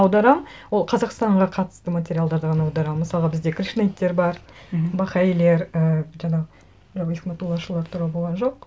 аударамын ол қазақстанға қатысты материалдарды ғана аударамын мысалға бізде кришнаиттер бар мхм бахаилер ііі жаңағы туралы болған жоқ